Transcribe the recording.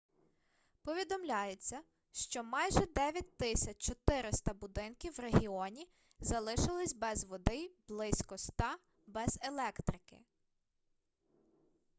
повідомляється що майже 9400 будинків в регіоні залишились без води й близько 100 - без електрики